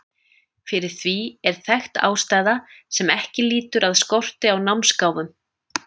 Fyrir því er þekkt ástæða sem ekki lýtur að skorti á námsgáfum.